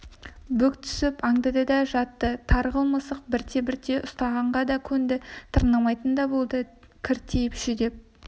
бүк түсіп аңдыды да жатты тарғыл мысық бірте-бірте ұстағанға да көнді тырнамайтын да болды кіртиіп жүдеп